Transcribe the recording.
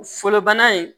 Fɔlɔ bana in